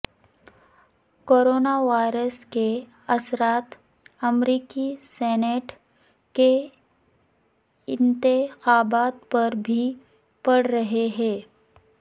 corona virus کے اثرات امریکی سینیٹ کے انتخابات پر بھی پڑ رہے ہیں